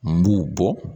N b'u bɔ